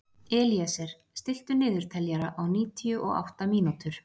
Elíeser, stilltu niðurteljara á níutíu og átta mínútur.